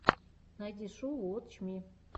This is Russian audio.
найди шоу уотч ми